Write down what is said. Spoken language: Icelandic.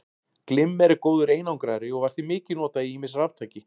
Glimmer er góður einangrari og var því mikið notað í ýmis raftæki.